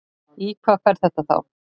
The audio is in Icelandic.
Í hvað fer þetta þá?